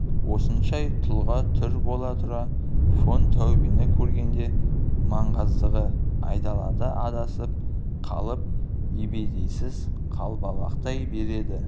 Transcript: осынша тұлға-түр бола тұра фон таубені көргенде маңғаздығы айдалада адасып қалып ебедейсіз қалбалақтай береді